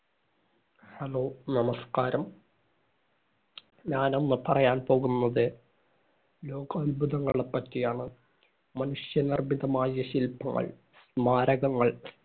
Hello, നമസ്കാരം. ഞാനിന്നു പറയാന്‍ പോകുന്നത് ലോകാത്ഭുതങ്ങളെ പറ്റിയാണ്. മനുഷ്യനിർമ്മിതമായ ശില്പങ്ങൾ, സ്മാരകങ്ങള്‍,